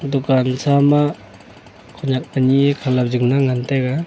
dukan sa ma khonyak anyi e khalop jing la ngan taiga.